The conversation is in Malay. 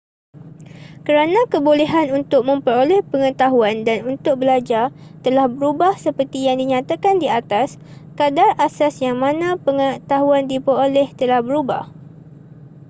kerana kebolehan untuk memperoleh pengetahuan dan untuk belajar telah berubah seperti yang dinyatakan di atas kadar asas yang mana pengetahuan diperoleh telah berubah